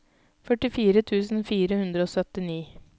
førtifire tusen fire hundre og syttini